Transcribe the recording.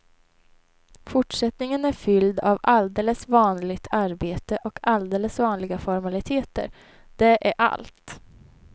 Fortsättningen är fylld av alldeles vanligt arbete och alldeles vanliga formaliteter, det är allt.